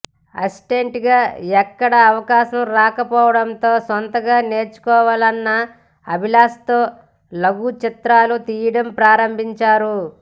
assistant గా ఎక్కడా అవకాశం రాకపోవడంతో సొంతంగా నేర్చుకోవాలన్న అభిలాశతో లఘుచిత్రాలు తీయడం ప్రారంభించారు